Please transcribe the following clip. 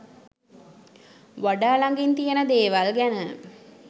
වඩා ලගින් තියෙන දේවල් ගැන